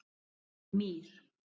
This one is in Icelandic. Mír